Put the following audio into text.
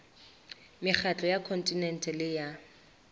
mekgatlo ya kontinente le ya